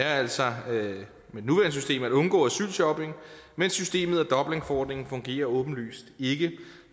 er altså at undgå asylshopping men systemet og dublinforordningen fungerer åbenlyst ikke